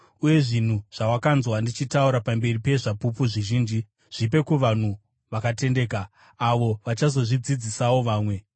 Uye zvinhu zvawakanzwa ndichitaura pamberi pezvapupu zvizhinji zvipe kuvanhu vakatendeka avo vachazozvidzidzisawo vamwe.